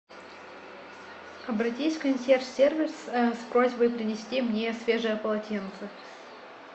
обратись в консьерж сервис с просьбой принести мне свежее полотенце